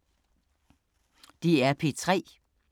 DR P3